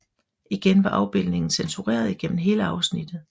Igen var afbildningen censureret gennem hele afsnittet